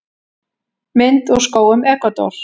Mynd úr skógum Ekvador.